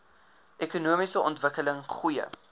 ekonomiese ontwikkeling goeie